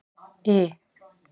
I